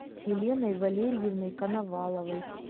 еленой валерьевной коноваловой